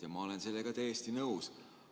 Ja ma olen sellega täiesti nõus.